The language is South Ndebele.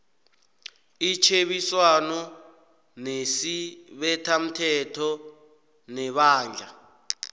itjhebiswano nesibethamthetho nebandla